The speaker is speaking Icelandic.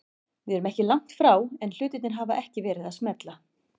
Við erum ekki langt frá en hlutirnir hafa ekki verið að smella.